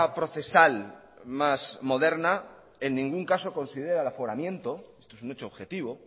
procesal más moderna en ningún caso considera el aforamiento esto es un hecho objetivo